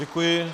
Děkuji.